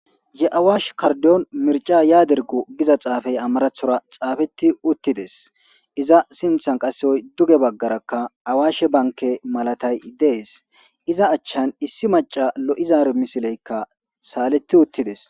Ye'awash kardon mirca yaadergo giza xaafay amarathora xaafeti uttides iza sinthan qaseyoy duge baggarakka awaashe banke malatay dees iza achchan issi maca lo'izaar misileykka saaletti uttides.